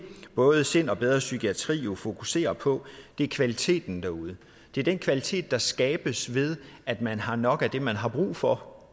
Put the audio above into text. både sind og bedre psykiatri jo fokuserer på er kvaliteten derude det er den kvalitet der skabes ved at man har nok af det man har brug for